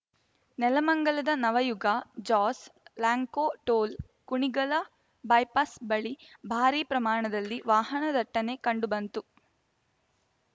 ನೆಲಮಂಗಲದ ನವಯುಗ ಜಾಸ್‌ Lanco toll Kunigal bypass ಬಳಿ ಭಾರೀ ಪ್ರಮಾಣದಲ್ಲಿ ವಾಹನ ದಟ್ಟಣೆ ಕಂಡು ಬಂತು